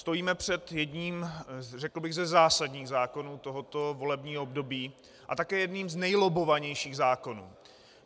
Stojíme před jedním, řekl bych, ze zásadních zákonů tohoto volebního období a také jedním z nejlobbovanějších zákonů.